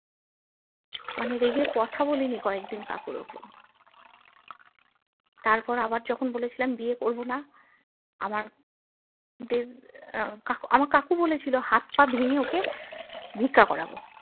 মানে রেগে কথা বলিনি কয়েকদিন কাকুর ওপর তারপর আবার যখন বলেছিলাম বিয়ে করবোনা আমার যে আহ কাকু আমার কাকু বলে ছিল হাতপা ভেঙে ওকে ভিক্ষা করাবো